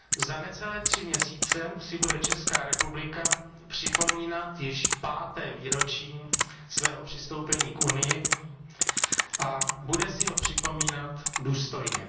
Za necelé tři měsíce si bude Česká republika připomínat již páté výročí svého přistoupení k Unii a bude si ho připomínat důstojně.